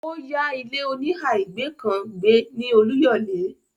ó ya ilé-oníhà ìgbé kan gbé ní Olúyòlé.